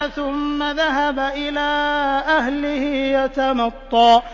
ثُمَّ ذَهَبَ إِلَىٰ أَهْلِهِ يَتَمَطَّىٰ